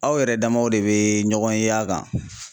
Aw yɛrɛ damaw de bɛ ɲɔgɔn ye a kan.